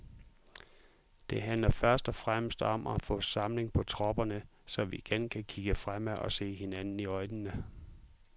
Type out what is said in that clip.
Det handler først og fremmest om at få samling på tropperne, så vi igen kan kigge fremad og se hinanden i øjnene.